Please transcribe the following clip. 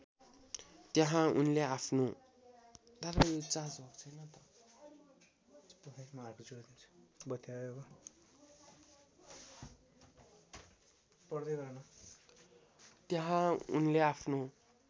त्यहाँ उनले आफ्नो